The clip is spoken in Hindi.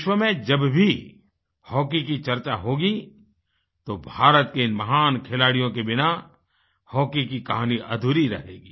विश्व में जब भी हॉकी की चर्चा होगी तो भारत के इन महान खिलाड़ियों के बिना हॉकी की कहानी अधूरी रहेगी